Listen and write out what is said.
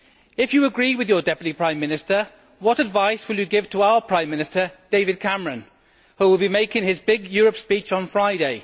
If you agree with your Deputy Prime Minister, what advice will you give to our Prime Minister, David Cameron, who will be making his big Europe speech on Friday?